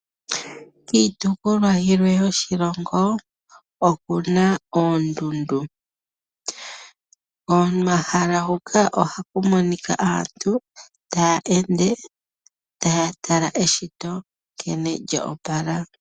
Kiitopolwa yilwe yoshilongo oku na oondundu. Komahala huka ohaku monika aantu taya ende taya tala eshito nkene lyo opala.